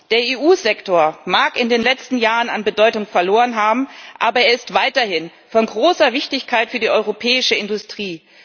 Der EU Sektor mag in den letzten Jahren an Bedeutung verloren haben, aber er ist weiterhin von großer Wichtigkeit für die europäische Industrie.